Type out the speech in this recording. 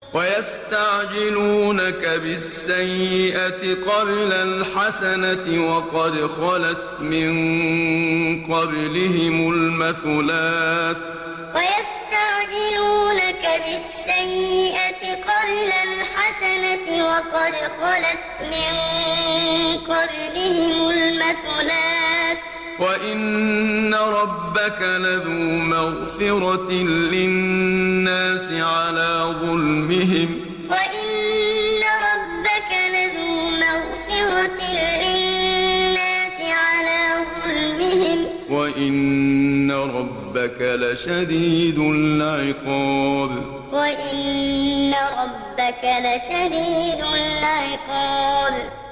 وَيَسْتَعْجِلُونَكَ بِالسَّيِّئَةِ قَبْلَ الْحَسَنَةِ وَقَدْ خَلَتْ مِن قَبْلِهِمُ الْمَثُلَاتُ ۗ وَإِنَّ رَبَّكَ لَذُو مَغْفِرَةٍ لِّلنَّاسِ عَلَىٰ ظُلْمِهِمْ ۖ وَإِنَّ رَبَّكَ لَشَدِيدُ الْعِقَابِ وَيَسْتَعْجِلُونَكَ بِالسَّيِّئَةِ قَبْلَ الْحَسَنَةِ وَقَدْ خَلَتْ مِن قَبْلِهِمُ الْمَثُلَاتُ ۗ وَإِنَّ رَبَّكَ لَذُو مَغْفِرَةٍ لِّلنَّاسِ عَلَىٰ ظُلْمِهِمْ ۖ وَإِنَّ رَبَّكَ لَشَدِيدُ الْعِقَابِ